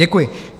Děkuji.